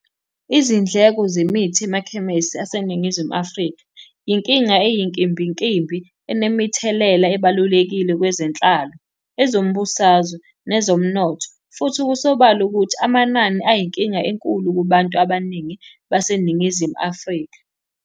Izindleko zemithi emakhemesi aseNingizimu Afrika, inkinga eyinkimbinkimbi enemithelela ebalulekile kwezenhlalo, ezombusazwe, nezomnotho, futhi kusobala ukuthi amanani ayinkinga enkulu kubantu abaningi baseNingizimu Afrika.